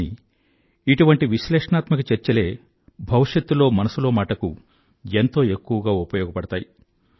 కానీ ఇటువంటి విశ్లేషణాత్మక చర్చలే భవిష్యత్తులో మనసులో మాటకు ఎంతో ఎక్కువగా ఉపయోగపడతాయి